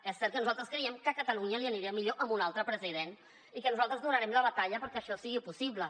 és cert que nosaltres creiem que a catalunya li aniria millor amb un altre president i que nosaltres donarem la batalla perquè això sigui possible